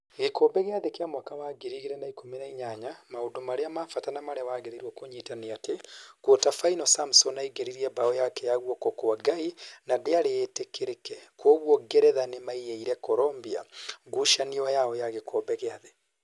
Gĩkombe gĩa thĩ kĩa mwaka wa ngiri igĩrĩ na ikũmi na inyaya: Maũndũ marĩa ma bata na marĩa wagĩrĩirwo kũnyita nĩ atĩ, Quater final Samson aingĩrĩirie mbaũ yake ya "guoko kwa Ngai: na ndĩari ĩtĩkĩrĩke kuoguo Ngeretha nĩmaiyĩire Colomboi ngucanio yao ya gĩkombe gĩa thĩ